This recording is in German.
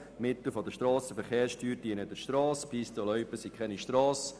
Die Mittel der Strassenverkehrssteuer gehören zur Strasse und Pisten- und Loipen sind keine Strassen.